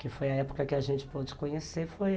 Que foi a época que a gente pôde conhecer.